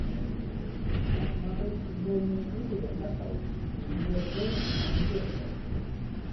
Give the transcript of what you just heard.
посмотреть футбольную игру апл ливерпуль манчестер